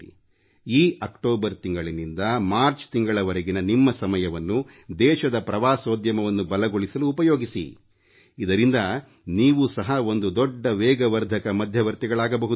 ಈ ಅಕ್ಟೋಬರ್ ತಿಂಗಳಿನಿಂದ ಮಾರ್ಚ್ ತಿಂಗಳವರೆಗಿನ ನಿಮ್ಮ ಸಮಯವನ್ನು ದೇಶದ ಪ್ರವಾಸೋದ್ಯಮವನ್ನು ಬಲಗೊಳಿಸಲು ಉಪಯೋಗಿಸಿ ಇದರಿಂದ ನೀವು ಸಹ ಒಂದು ದೊಡ್ಡ ವೇಗವರ್ಧಕ ಮಧ್ಯವರ್ತಿಗಳಾಗಬಹುದು